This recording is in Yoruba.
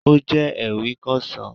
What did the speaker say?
Ó jẹ́ ewì Kẹsan